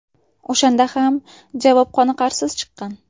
O‘shanda ham javob qoniqarsiz chiqqan.